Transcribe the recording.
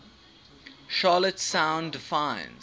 charlotte sound defines